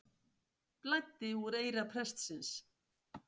Blæddi úr eyra prestsins